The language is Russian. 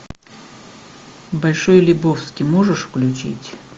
большой лебовски можешь включить